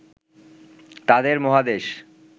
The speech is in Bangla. তাদের মহাদেশ